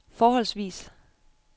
forholdsvis